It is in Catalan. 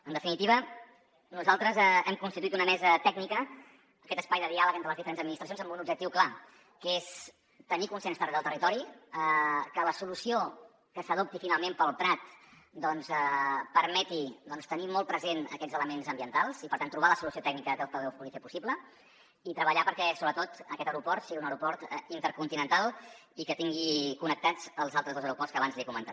en definitiva nosaltres hem constituït una mesa tècnica aquest espai de diàleg entre les diferents administracions amb un objectiu clar que és tenir consens arreu del territori que la solució que s’adopti finalment per al prat permeti tenir molt pre·sents aquests elements ambientals i per tant trobar la solució tècnica que pugui fer·ho possible i treballar perquè sobretot aquest aeroport sigui un aeroport intercon·tinental i tingui connectats els altres dos aeroports que abans li he comentat